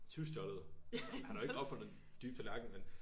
Tyvstjålet. Han har jo ikke opfundet den dybe tallerken vel